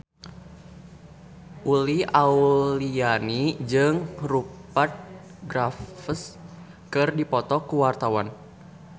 Uli Auliani jeung Rupert Graves keur dipoto ku wartawan